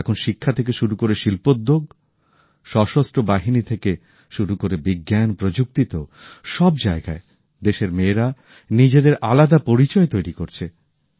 এখন শিক্ষা থেকে শুরু করে শিল্পোদ্যো্গ সশস্ত্র বাহিনী থেকে শুরু করে বিজ্ঞান প্রযুক্তিতেও সব জায়গায় দেশের মেয়েরা নিজেদের আলাদা পরিচয় তৈরি করছে